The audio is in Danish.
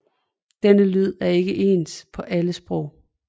Denne lyd er ikke ens på alle sprog